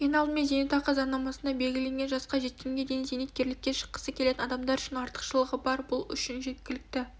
ең алдымен зейнетақы заңнамасында белгіленген жасқа жеткенге дейін зейнеткерлікке шыққысы келетін адамдар үшін артықшылығы бар бұл үшін жеткілікті